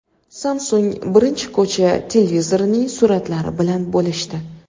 Samsung birinchi ko‘cha televizorining suratlari bilan bo‘lishdi.